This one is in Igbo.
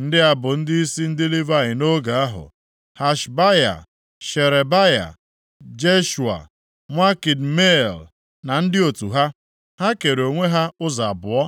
Ndị a bụ ndịisi ndị Livayị nʼoge ahụ: Hashabaya, Sherebaya, Jeshua, nwa Kadmiel na ndị otu ha. Ha kere onwe ha ụzọ abụọ.